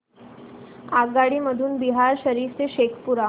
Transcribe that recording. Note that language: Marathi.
आगगाडी मधून बिहार शरीफ ते शेखपुरा